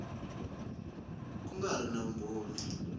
ku nga ri na vumbhoni